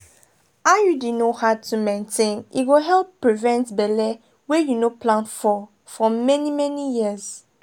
iud no hard to maintain e go help prevent belle wey you no plan for for many-many years.